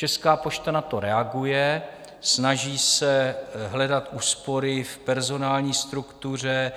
Česká pošta na to reaguje, snaží se hledat úspory v personální struktuře,